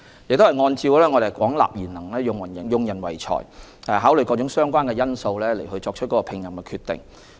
我們按照廣納賢能、用人唯才的原則，並考慮各種相關因素後作出聘任決定。